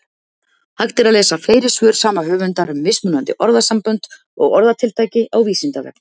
Hægt er að lesa fleiri svör sama höfundar um mismunandi orðasambönd og orðatiltæki á Vísindavefnum.